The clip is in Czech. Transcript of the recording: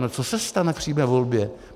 No co se stane v přímé volbě?